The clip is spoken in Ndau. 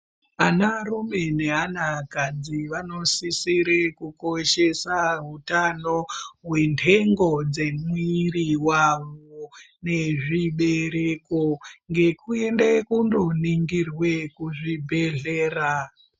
Anarume neana kadzi vanosisire kukoshesa hutano hwentengo dzemwiri wawo nezvibereko ngekuende kundoningirwe kuzvibhedhlera.